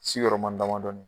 Sigiyɔrɔma damadɔni